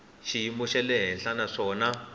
xiyimo xa le henhla naswona